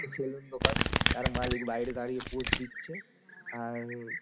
Salon দোকান তার মালিক বাহিরে দাঁড়িয়ে পচ দিচ্ছে ।